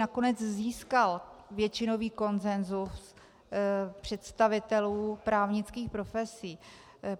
Nakonec získal většinový konsensus představitelů právnických profesí.